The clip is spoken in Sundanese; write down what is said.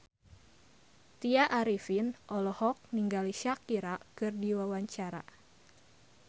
Tya Arifin olohok ningali Shakira keur diwawancara